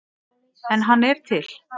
En hann er til.